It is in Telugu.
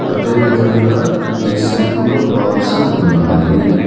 అదేవిధంగా ఈ సెల్పులొ బాల్స్ ఉన్నాయి.